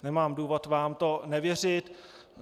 Nemám důvod vám to nevěřit.